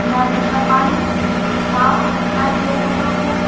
नदी का पानी साफ दिखाई दे रहा है।